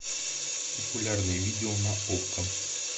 популярное видео на окко